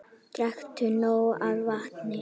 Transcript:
Drekktu nóg af vatni.